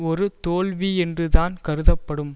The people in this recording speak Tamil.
ஒரு தோல்வி என்றுதான் கருதப்படும்